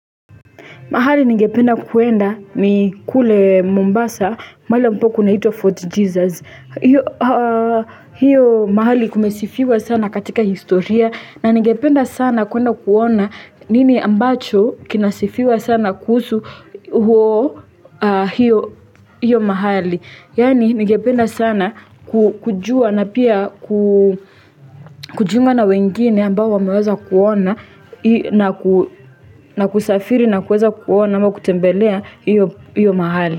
Mahali ningependa kuenda ni kule Mombasa, mahali ambapo kunaitwa Fort Jesus. Hiyo mahali kumesifiwa sana katika historia, na ningependa sana kuenda kuona nini ambacho kinasifiwa sana kuhusu huo hiyo mahali. Yaani ningependa sana kujua na pia kujiunga na wengine ambao wameweza kuona na kusafiri na kuweza kuona ama kutembelea iyo mahali.